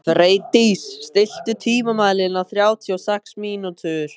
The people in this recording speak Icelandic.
Freydís, stilltu tímamælinn á þrjátíu og sex mínútur.